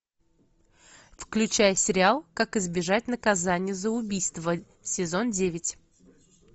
включай сериал как избежать наказание за убийство сезон девять